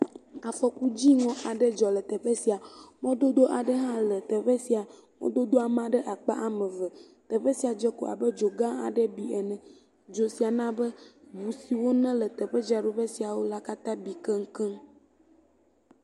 Afɔkudziŋɔ aɖe dzɔ le teƒe sia. Mɔdodo aɖe hã le teƒe sia. Mɔdodoa ma ɖe akpa ame eve. Teƒe dze ko abed zo gã aɖee bi ene. Dzo sia na be ŋu siwo ne le teƒedzraɖoƒe siawo la katã bi kekeŋ.